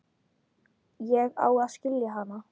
Ég á að skilja hana.